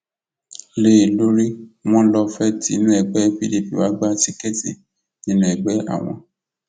lé e lórí wọn lọ fee tí inú ẹgbẹ pdp wàá gba tíkẹẹtì nínú ẹgbẹ àwọn